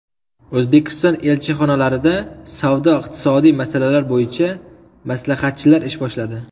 O‘zbekiston elchixonalarida savdo-iqtisodiy masalalar bo‘yicha maslahatchilar ish boshladi.